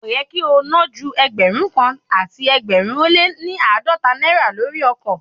Kò yẹ kí o ná ju Ẹgbẹ̀rún kan àti ẹgbẹ̀rin ó lé ní àádọ́ta náírà lórí ọkọ̀.